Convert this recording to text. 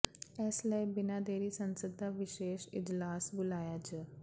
ਇਸ ਲਈ ਬਿਨਾਂ ਦੇਰੀ ਸੰਸਦ ਦਾ ਵਿਸ਼ੇਸ਼ ਇਜਲਾਸ ਬੁਲਾਇਆ ਜ